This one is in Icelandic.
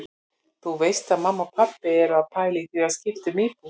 Þú veist að mamma og pabbi eru að pæla í því að skipta um íbúð.